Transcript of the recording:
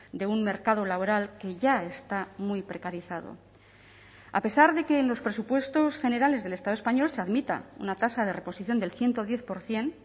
de un mercado laboral que ya está muy precarizado a pesar de que en los presupuestos generales del estado español se admita una tasa de reposición del ciento diez por ciento